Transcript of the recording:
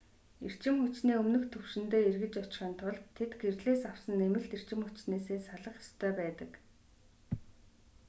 эрчим хүчний өмнөх түвшиндээ эргэж очихын тулд тэд гэрлээс авсан нэмэлт эрчим хүчнээсээ салах ёстой байдаг